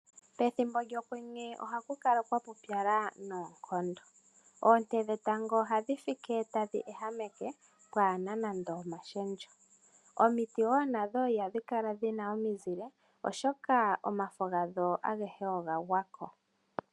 Pethimbo lyokwenye ohaku kala kwapupyala noonkondo, oonte dhetango ohadhi fike tadhi ehameke pwaana nande omashendjo. Omiti woo nadho ihadhi kala dhina omizile, oshoka omafa gadho agehe oga gwako.